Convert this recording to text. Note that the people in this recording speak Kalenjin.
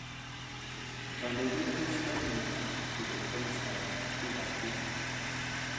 Kandoindet ko Stanley mutai kobun kimostab ab bik ab kutut.